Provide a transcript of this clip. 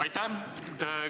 Aitäh!